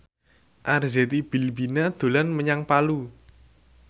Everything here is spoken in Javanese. Arzetti Bilbina dolan menyang Palu